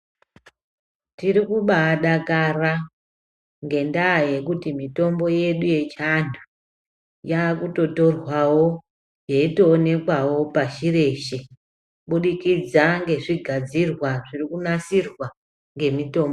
Tiri kubadakara ngendaa yekuti mitombo yedu yechiantu yakutotorwavo yeitoonekwavo pashi reshe. Kubudikidza ngezvigadzirwa zviri kunasirwa ngemitombo.